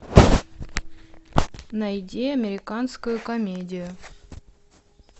найди американскую комедию